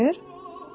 Milçəkdir?